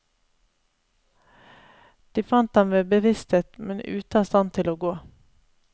De fant ham ved bevissthet, men ute av stand til å gå.